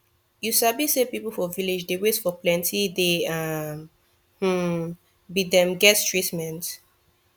you sabi say people for village dey wait for plenti day um hmm be dem get treatment